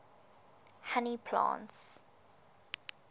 honey plants